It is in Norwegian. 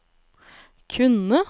kunne